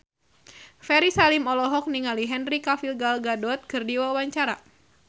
Ferry Salim olohok ningali Henry Cavill Gal Gadot keur diwawancara